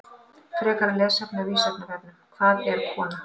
Frekara lesefni á Vísindavefnum: Hvað er kona?